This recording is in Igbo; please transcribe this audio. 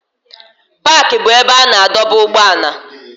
Paaki bụ ebe a na-adọba ụgbọala.